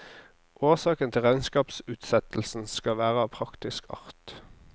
Årsaken til regnskapsutsettelsen skal være av praktisk art.